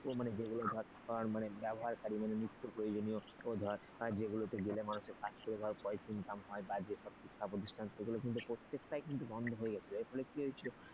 মানে যেগুলো ধর মানে ব্যবহারকারী মানে নিত্য প্রয়োজনীয় ধর যেগুলোতে গেলে মানুষের কাছে পয়সা ইনকাম হয় যে সব শিক্ষা প্রতিষ্ঠান সেগুলো প্রত্যেকটি কিন্তু বন্ধ হয়ে গেছিল এর ফলে কি হয়েছিল,